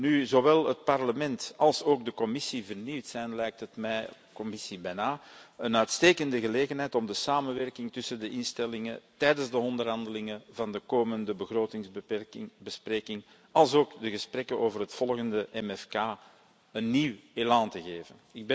Nu zowel het Parlement als straks de Commissie vernieuwd zijn, lijkt het mij een uitstekende gelegenheid om de samenwerking tussen de instellingen tijdens de onderhandelingen van de komende begrotingsbesprekingen alsook de gesprekken over het volgende MFK een nieuw elan te geven.